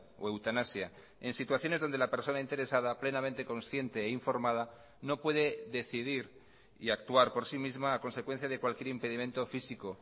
o eutanasia en situaciones donde la persona interesada plenamente consciente e informada no puede decidir y actuar por sí misma a consecuencia de cualquier impedimento físico